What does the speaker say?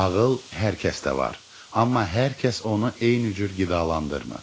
Ağıl hər kəsdə var, amma hər kəs onu eyni cür qidalandırmır.